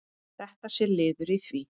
Þetta sé liður í því.